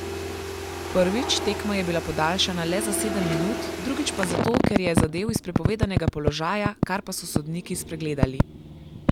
Prvič, tekma je bila podaljšana le za sedem minut, drugič pa zato, ker je zadel iz prepovedanega položaja, kar pa so sodniki spregledali.